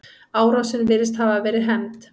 Árásin virðist hafa verið hefnd.